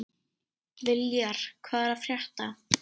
Viljar, hvað er að frétta?